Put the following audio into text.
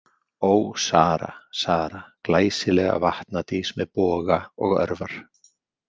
Ó, Sara, Sara, glæsilega vatnadís með boga og örvar.